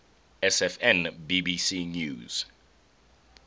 sfn bbc news